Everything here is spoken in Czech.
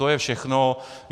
To je všechno.